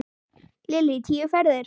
Lillý: Tíu ferðir?